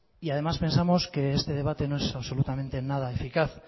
y además pensamos que este debate no es absolutamente nada eficaz